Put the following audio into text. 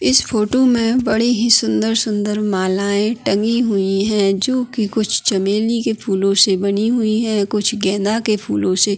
इस फोटो में बड़ी ही सुंदर-सुंदर मालाएं टंगी हुई हैं जो की कुछ चमेली के फूलों से बनी हुई हैं कुछ गेंदा के फूलों से।